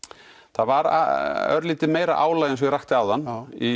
það var örlítið meira álag eins og ég rakti áðan